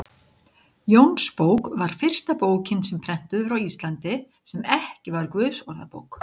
Jónsbók var fyrsta bókin sem prentuð var á Íslandi, sem ekki var Guðsorðabók.